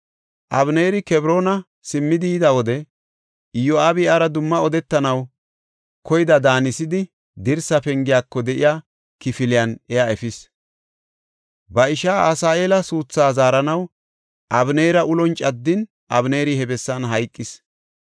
Abeneeri Kebroona simmidi yida wode Iyo7aabi iyara dumma odetanaw koyida daanisidi dirsa pengiyako de7iya kifiliyanne iya efis. Ba ishaa Asaheela suutha zaaranaw Abeneera ulon caddin Abeneeri he bessan hayqis.